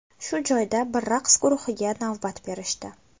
Shu joyda bir raqs guruhiga navbat berishdi.